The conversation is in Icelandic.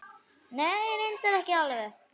Nei. reyndar ekki alveg.